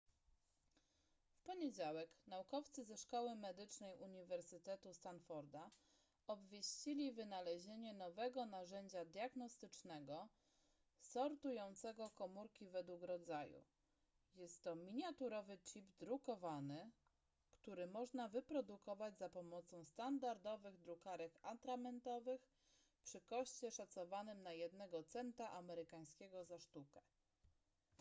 w poniedziałek naukowcy ze szkoły medycznej uniwersytetu stanforda obwieścili wynalezienie nowego narzędzia diagnostycznego sortującego komórki według rodzaju jest to miniaturowy chip drukowany który można wyprodukować za pomocą standardowych drukarek atramentowych przy koszcie szacowanym na jednego centa amerykańskiego za sztukę